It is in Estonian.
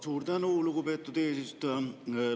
Suur tänu, lugupeetud eesistuja!